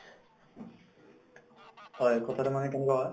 হয় কথাটো মানে কেনেকুৱা হয়